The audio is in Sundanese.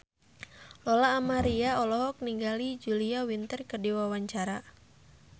Lola Amaria olohok ningali Julia Winter keur diwawancara